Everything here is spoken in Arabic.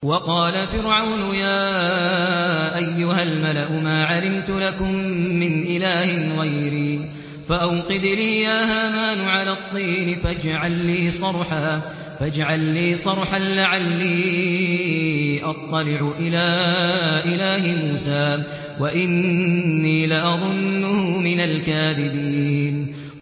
وَقَالَ فِرْعَوْنُ يَا أَيُّهَا الْمَلَأُ مَا عَلِمْتُ لَكُم مِّنْ إِلَٰهٍ غَيْرِي فَأَوْقِدْ لِي يَا هَامَانُ عَلَى الطِّينِ فَاجْعَل لِّي صَرْحًا لَّعَلِّي أَطَّلِعُ إِلَىٰ إِلَٰهِ مُوسَىٰ وَإِنِّي لَأَظُنُّهُ مِنَ الْكَاذِبِينَ